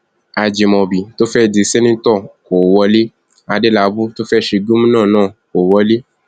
ajimobi tó fẹẹ dì sẹńtítọ kó wọlé adélábù tó fẹẹ ṣe gómìnà náà kó wọlé